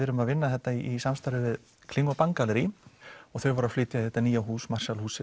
erum að vinna þetta í samstarfi við kling og Bang þau voru að flytja í þetta hús